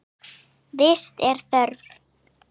Vits er þörf